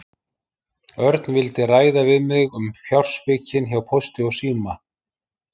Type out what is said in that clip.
Örn vildi ræða við mig um fjársvikin hjá Pósti og síma.